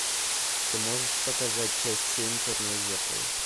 ты можешь показать часть семь черное зеркало